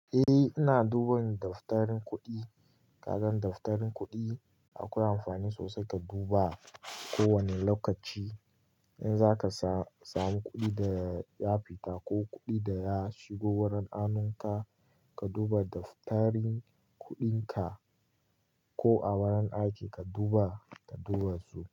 Eh, ina duban daftarin kuɗi. Kasan daftarin kuɗi akwai amfani sosai ka duba kowane lokaci. In za ka samu kuɗi da ya fita ko kuɗi da ya shigo wurin hanunka, ka duba daftarin kuɗinka ko a wurin aiki ka duba, ka duba su.